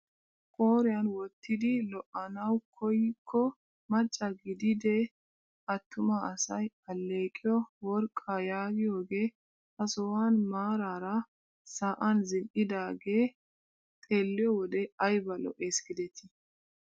Qooriyaan wottidi lo"anawu koykko macca gididee attuma asay alleqiyoo worqqaa yaagiyooge ha sohuwaan maarara sa'an zin"idagee xeelliyo wode ayba lo"ees gidetii!